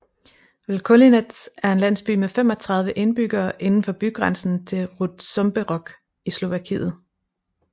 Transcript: Vlkolínec er en landsby med 35 indbyggere indenfor bygrænsen til Rutžomberok i Slovakiet